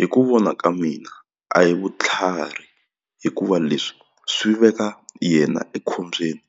Hi ku vona ka mina a hi vutlhari hikuva leswi swi veka yena ekhombyeni